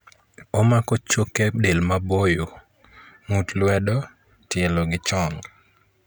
Omako choke del maboyo.ng'ut luedo ,tielo gi chong'